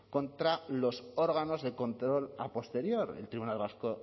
contra los órganos de control a posterior el tribunal vasco